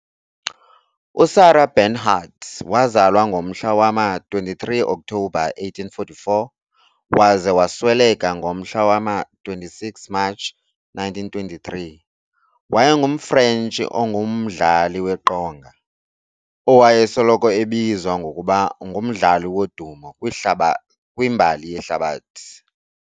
USarah Bernhardt wazalwa ngomhla wama, 23 October 1844 waze wasweleka ngomhla wama26 March 1923, wayengumFrentshi ongumdlali weqonga, owayesoloko ebizwa ngokuba "ngumdlali wodumo kwimbali yehlabathi".